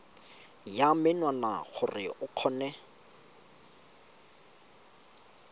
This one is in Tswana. ya menwana gore o kgone